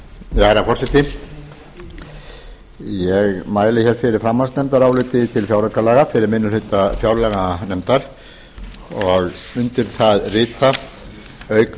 herra forseti ég mæli hér fyrir framhaldsnefndaráliti um frumvarp til fjáraukalaga fyrir minni hluta fjárlaganefndar undir það rita auk mín sem er